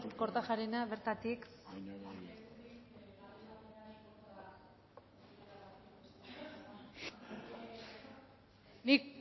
kortajarena bertatik nik